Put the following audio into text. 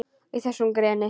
Í þessu greni?